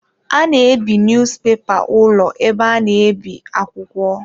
A na ebi niyuzupepa ụlọ ebe a na-ebi akwụkwọ.